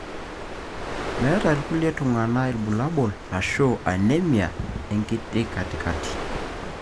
meeta ilkulie tunganaa ilbulabul ashu anemia ekatikakati.